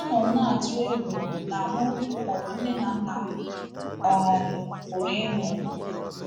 A nọ m na-atụ egwu na mụ maọbụ nne na nna m um pụrụ ịnwụ. ”